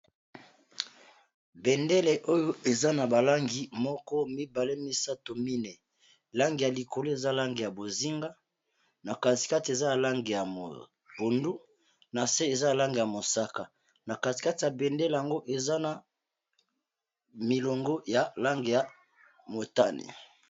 bendele oyo eza na balangi moko mibale misato mine langi ya likolo eza langi ya bozinga na katikati eza langi ya Mai ya pondu ,na se eza langi ya mosaka na katikati ya bendele yango eza na milongo ya langi ya motane.